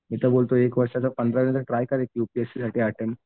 मी तर बोलतो एक वर्षाचा पंधरावीचा ट्राय कर यूपीएससीचा अटेम्प्ट